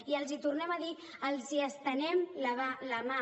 i els hi tornem a dir els estenem la mà